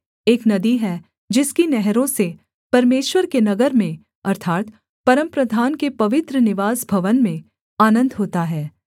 एक नदी है जिसकी नहरों से परमेश्वर के नगर में अर्थात् परमप्रधान के पवित्र निवास भवन में आनन्द होता है